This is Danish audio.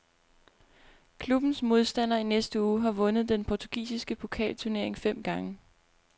Klubbens modstander i næste uge har vundet den portugisiske pokalturnering fem gange.